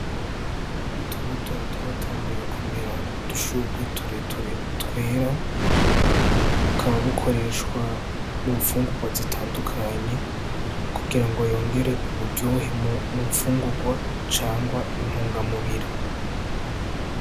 Utubuto twatanguye kumera udushurwe tureture twera bukaba bukoreshwa mu mfungurwa zitandukanye kugira ngo yongere uburyohe mu mfungurwa canke intunga mubiri.